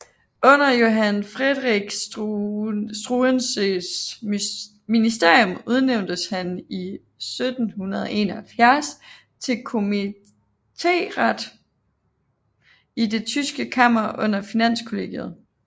Under Johann Friedrich Struensees ministerium udnævntes han i 1771 til kommiteret i det tyske kammer under Finanskollegiet